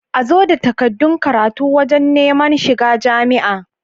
Azo da takaddun karatu wajan Neman shiga jamia